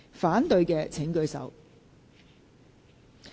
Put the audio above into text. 反對的請舉手。